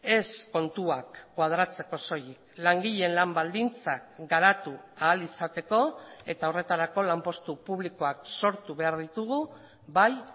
ez kontuak koadratzeko soilik langileen lan baldintzak garatu ahal izateko eta horretarako lanpostu publikoak sortu behar ditugu bai